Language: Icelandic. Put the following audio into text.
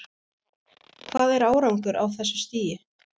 Hvað er árangur á þessu stigi?